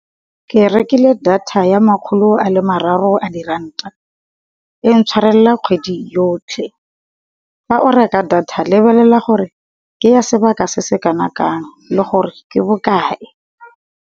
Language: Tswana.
Ke rekile data ya makgolo a le mararo a diranta e intshwarela kgwedi yotlhe. Fa o reka data lebelela gore ke ya sebaka se se kana kang le gore ke bokae.